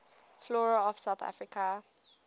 flora of south africa